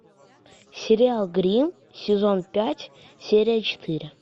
сериал гримм сезон пять серия четыре